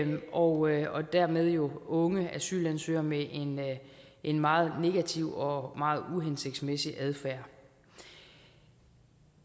og dermed jo unge asylansøgere med en meget negativ og meget uhensigtsmæssig adfærd